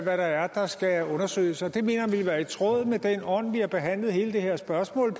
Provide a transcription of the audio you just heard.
er der skal undersøges det mener jeg ville være i tråd med den ånd vi har behandlet hele det her spørgsmål